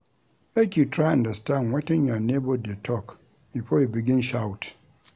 Make you try understand wetin your nebor dey tok before you begin shout.